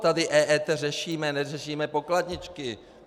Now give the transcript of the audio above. Tady EET řešíme, neřešíme pokladničky.